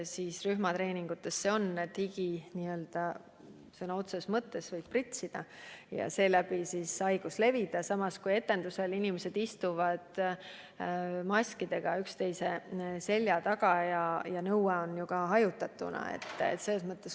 Seal võib higi sõna otseses mõttes pritsida ja seeläbi viirus levida, samas kui etendusel inimesed istuvad maskidega üksteise selja taga ja kehtib ka nõue hajutatuna olla.